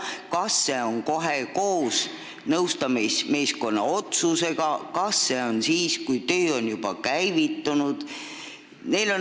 Kas see jõuab koos nõustamismeeskonna otsusega või alles siis, kui töö on juba käivitunud?